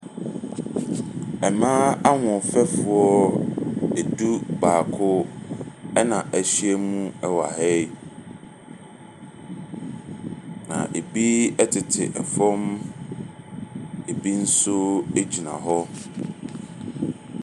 Mmaa ahoɔfɛfoɔ edu baako ɛna ɛhyia mu ɛwɔ ha yi. Na ebi ɛtete ɛfam, ebi nso egyina hɔ.